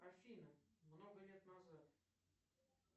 афина много лет назад